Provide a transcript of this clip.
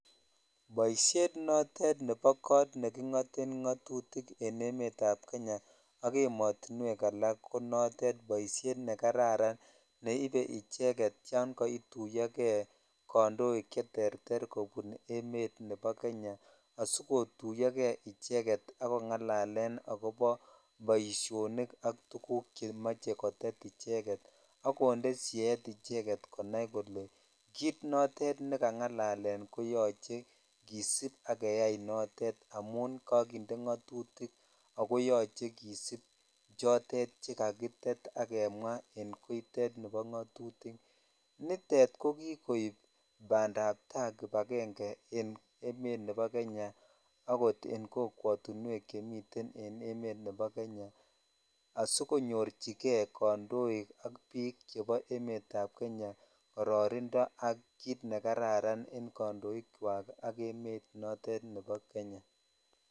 Boisiet notet nebo kot nekingo'ten ngotutik en emet ab Kenya ak ematuwek ak ko notet boisiet nekararan neibe icheget tan kaituyo kei kandoik cheterteren emet nebo Kenya asikotuyo kei icheget ak kongalalen boishonik ak tukuk chemoche kotet icheget ak konde siet icheget konai kole kit notet ne kangalalen koyoche kisipak jeyai notet amun jakinde katutik ako yoche kisip chotet kakitet ak kinde ngatutikak kemwaa en koitet nibo ngotutik nitet ko kikoib bandaptai ,kibagenge en emet nebo Kenya akot en kokwet uwek chemiten en emet nebo Kenya asikonyorchijei kandoindet ak bik chebo Kenya kororindo ak kit nekararan en kandoik chwak ak emet nebo Kenya.